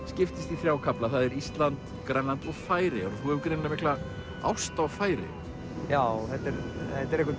skiptist í þrjá kafla það er Ísland Grænland og Færeyjar og þú hefur greinilega mikla ást á Færeyjum já þetta er eitthvert